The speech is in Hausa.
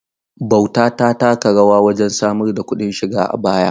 Bauta ta taka rawa wajen samar da kuɗin shiga a baya.